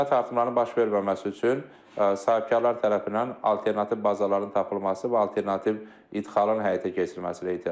Qiymət artımlarının baş verməməsi üçün sahibkarlar tərəfindən alternativ bazaların tapılması və alternativ ixalın həyata keçirilməsinə ehtiyac var.